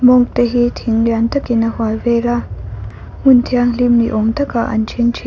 monk te hi thing lian takin a hual vela hmun thianghlim ni awm takah an thingthi--